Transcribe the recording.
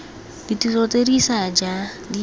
ditiro tse di ša di